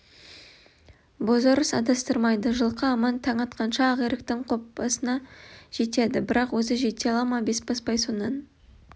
бозорыс адастырмайды жылқы аман таң атқанша ақиректің қопасына жетеді бірақ өзі жете ала ма бесбасбай сонан